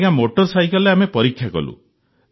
ଆଜ୍ଞା ମୋଟର ସାଇକଲରେ ଆମେ ପରୀକ୍ଷା କଲୁ